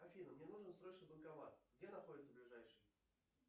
афина мне нужен срочно банкомат где находится ближайший